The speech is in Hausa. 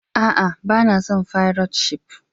A'a, ba na son fairat shif.